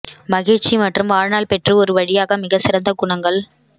மகிழ்ச்சி மற்றும் வாழ்நாள் பெற்று ஒரு வழியாக மிகச் சிறந்த குணங்கள்